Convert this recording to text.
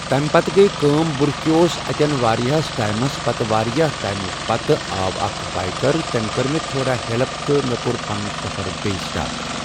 تمہِ پتہٕ گے کٲم بہٕ رُکیووُس اتیٚن واریاہس ٹایمس پتہٕ واریاہ ٹایم پتہٕ آو اکھ بأیکر تٔمۍ کٔر مےٚ تھوڑا ہیٚلٕپ تہٕ کوٚر مےٚ سفر پنُن بییٚہِ سِٹاٹ۔